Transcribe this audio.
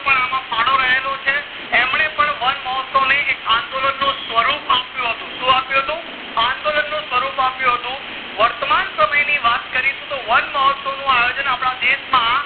નો પણ અમ ફાળો રહેલો છે એમને પણ વનમહોત્સવ ને એક અંદોલન નું સ્વરૂપ આપ્યું હતું શું આપ્યું હતું અંદોલન નું સ્વરૂપ આપેલું હતું વર્તમાન સમય ની વાત કરીશું તો વનમહોત્સવ નું આયોજન અપડા દેશ માં